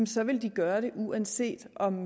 så vil de gøre det uanset om